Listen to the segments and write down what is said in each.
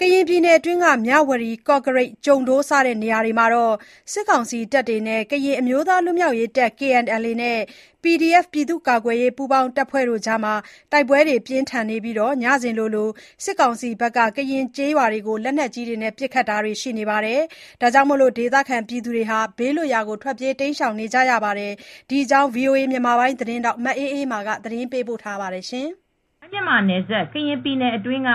ကရင်ပြည်နယ်အတွင်းက မြဝတီ၊ ကော့ကရိတ်၊ ကျုံဒိုး စတဲ့နေရာတွေမှာစစ်ကောင်စီတပ်တွေနဲ့ ကရင်အမျိုးသားလွတ်မြောက်ရေးတပ် KNLA ၊ PDF စတဲ့ ပူးပေါင်းတပ်ဖွဲ့တွေကြား တိုက်ပွဲတွေ ဆက်ဖြစ်နေပြီး ညတိုင်းလည်း စစ်ကောင်စီဘက်က ကရင်ကျေးရွာတွေကို လက်နက်ကြီးနဲ့ ပစ်ခတ်တာတွေ ရှိနေပါတယ်။ ဒီအတွက် ဒေသခံပြည်သူတွေကလည်း ဘေးလွတ်ရာကို ရှောင်ပြေးနေရပါတယ်။ ဒီအကြောင်း ဗွီအိုအေ သတင်းထောက် မအေးအေးမာက သတင်းပေးပို့ထားပါတယ်။ ထိုင်း−မြန်မာနယ်စပ်၊ ကရင်ပြည်နယ်အတွင်းက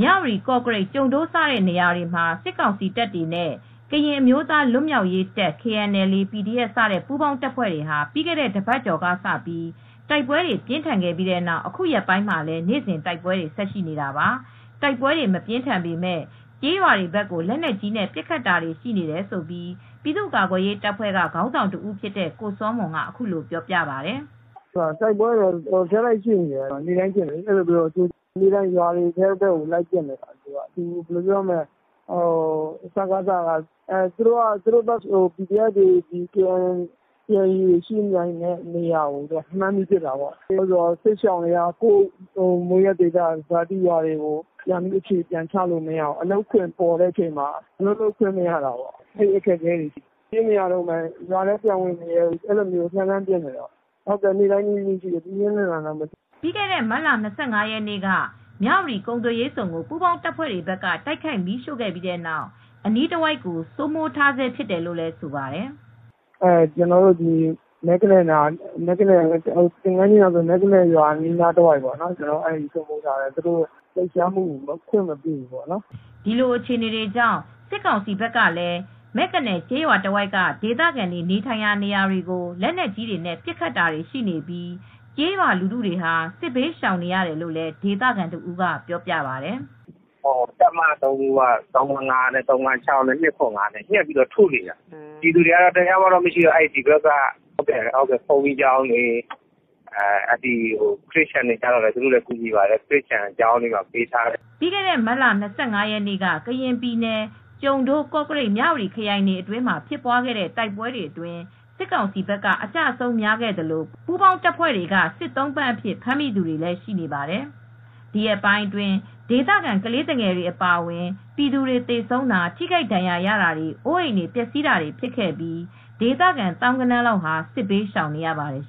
မြဝတီ၊ ကော့ကရိတ်၊ ကျုံဒိုး စတဲ့ နေရာတွေမှာ စစ်ကောင်စီတပ်တွေနဲ့ ကရင် အမျိုးသားလွတ်မြောက်ရေးတပ် KNLA ၊ PDF စတဲ့ ပူးပေါင်းတပ်ဖွဲ့တွေဟာ ပြီးခဲ့တဲ့ တစ်ပတ်ကျော်ကစပြီး တိုက်ပွဲတွေ ပြင်းထန်းခဲ့ပြီးတဲ့နောက် အခုရက်ပိုင်းမှာလည်း နေစဉ်တိုက်ပွဲတွေ ဆက်ရှိနေတာပါ။ တိုက်ပွဲတွေ မပြင်းထန်ပေမယ့် ကျေးရွာတွေဘက်ကို လက်နက်ကြီးတွေ ပစ်ခတ်တာတွေ ရှိနေတယ်လို့ ပြည်သူကာကွယ်ရေးတပ်ဖွဲ့က ခေါင်းဆောင်တစ်ဦးဖြစ်တဲ့ ကိုစောမွန်က အခုလို ပြောပြပါတယ်။ “တိုက်ပွဲကတော့ ဆက်တိုက်ဖြစ်နေတယ်။ နေ့တိုင်း ရွာတွေထဲဘက်ကို သူက က လိုက်ပစ်နေတယ်။ သူတို့ကတော့ ကေအဲန်ယူတွေ၊ ပီဒီအက်ဖ်တွေ ရှိနိုင်မယ့်နေရာတွေကို လိုက်ပစ်နေတာပေါ့။ စစ်ဘေးရှောင် ဒေသခံရွာသားတွေကတော့ ဇာတိမြေကို မပြန်နိုင်ကြတော့ဘူး။ အခြေမချနိုင်တော့ဘူး။ အလုပ်ခွင်တွေထဲကိုလည်း ပြန်မဝင်နိုင်ကြတော့ဘူး။ ဒီအတွက် အခက်အခဲတွေတော့ ရှိတာပေါ့။ ပြေးနေရတုန်းပဲ၊ ရွာထဲကို ပြန်မဝင်ရဲဘူး။ လှမ်းလှမ်းပစ်နေလို့လေ။” ပြီးခဲ့တဲ့မတ်လ ၂၅ရက်နေ့က မြဝတီ ကုန်သွယ်ရေးဇုန်ကို ပူးပေါင်းတပ်ဖွဲ့တွေဘက်က တိုက်ခိုက် မီးရှို့ခဲ့ပြီးတဲ့နောက် အနီးတဝိုက်ကို စိုးမိုးထားဆဲ ဖြစ်တယ်လို့လည်း ဆိုပါတယ်။ “မဲ့ကနယ် နေရာ၊ သင်္ကန်းညီနောင် အနီးတဝိုက် မဲ့ကနယ် ဘက်ကိုတော့ ကျနော်တို့က စိုးမိုးထားတယ်။ သူတိုကို ကိုယ့်နယ်မြေမှာ လှုပ်ရှားခွင့်မပေးဘူးပေါ့။” ဒီလိုအခြေအနေတွေကြောင့် စစ်ကောင်စီဘက်ကလည်း မဲကနယ် ကျေးရွာတဝိုက်က ဒေသခံတွေ နေထိုင်ရာနေရာကို လက်နက်ကြီးတွေနဲ့ ပစ်ခတ်တာတွေ ရှိနေပြီး ကျေးရွာလူထုတွေဟာ စစ်ဘေးရှောင်နေရတယ်လို့လည်း ဒေသခံတစ်ဦးက ပြောပါတယ်။ “တပ်မ ၃ ခုကပေါ့ ၊ ခလရ ၃၅၅ နဲ့ ၃၅၆ နဲ့ ခမရ ၂၇၅ တို့က ညှပ်ပြီး ထုနေတာ။ ပြည်သူကတော့ တစ်ယောက်မှတော့ မရှိတော့ဘူး။ ဘုန်းကြီးကျောင်းတွေ၊ ခရစ်ယာန်ကျောင်းတွေမှာ နေထိုင်တယ်။ ခရစ်ယာန်တွေကလည်း ကူညီကြပါတယ်။ ခရစ်ယာန်ကျောင်းနေရာမှာ သူတို့နေရာတွေမှာ ပေးထားပါတယ်။” ပြီးခဲတဲ့မတ်လ၂၅ ရက်နေ့က ကရင်ပြည်နယ်၊ ကျုံဒိုး၊ ကော့ကရိတ်၊ မြဝတီ ခရိုင်တွေအတွင်းမှာ ဖြစ်ပွားခဲ့တဲ့ တိုက်ပွဲတွေအတွင်း စစ်ကောင်စီဘက်က အကျအဆုံးများသလို ပူးပေါင်းတပ်ဖွဲ့တွေက စစ်သုံ့ပန်းအဖြစ် ဖမ်းမိသူတွေလည်း ရှိနေပါတယ်။ ဒီတိုက်ပွဲတွေအတွင်း ဒေသခံ ကလေးသူငယ်တွေအပါအဝင် ပြည်သူတွေ သေဆုံးတာ၊ ထိခိုက်ဒဏ်ရာရတာတွေ၊ အိုးအိမ်တွေ ပျက်စီးတာတွေလည်း ဖြစ်ခဲ့ပြီး ဒေသခံ သောင်းဂဏန်းလောက် စစ်ဘေးရှောင်နေရပါတယ်